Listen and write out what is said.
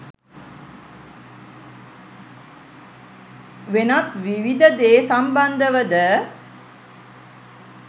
වෙනත් විවිධ දේ සම්බන්ධවද